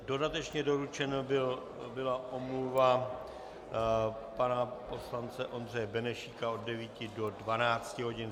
Dodatečně doručena byla omluva pana poslance Ondřeje Benešíka od 9 do 12 hodin.